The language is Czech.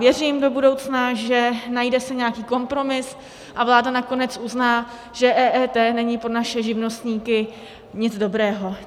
Věřím do budoucna, že najde se nějaký kompromis a vláda nakonec uzná, že EET není pro naše živnostníky nic dobrého.